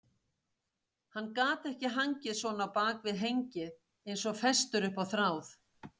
Hann gat ekki hangið svona á bak við hengið eins og festur upp á þráð.